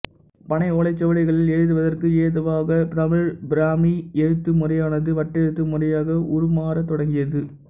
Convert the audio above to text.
பனை ஓலைச்சுவடிகளில் எழுதுவதற்கு ஏதுவாகத் தமிழ் பிராமி எழுத்துமுறையானது வட்டெழுத்து முறையாக உருமாறத் தொடங்கியது